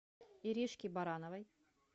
иришки барановой